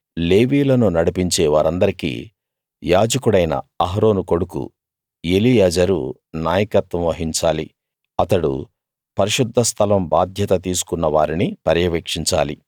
లేవీయులను నడిపించే వారందరికీ యాజకుడైన అహరోను కొడుకు ఎలియాజరు నాయకత్వం వహించాలి అతడు పరిశుద్ధస్థలం బాధ్యత తీసుకున్న వారిని పర్యవేక్షించాలి